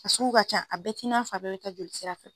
A suku ka ca, a bɛɛ t'i nafɔ a bɛɛ be taa joli sira fɛ.